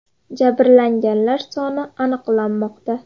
Jabrlanganlar soni aniqlanmoqda.